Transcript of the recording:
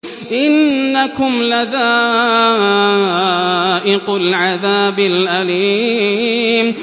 إِنَّكُمْ لَذَائِقُو الْعَذَابِ الْأَلِيمِ